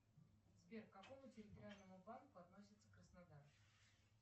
сбер к какому территориальному банку относится краснодар